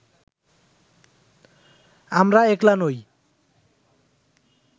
আমরা একলা নই